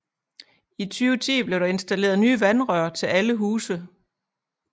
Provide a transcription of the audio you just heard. I 2010 blev der installeret nye vandrør til alle huse